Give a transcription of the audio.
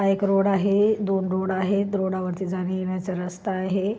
हा एक रोड आहे दोन रोड आहे रोडावर जाण्या येण्याचा रस्ता आहे.